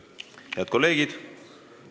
Head kolleegid!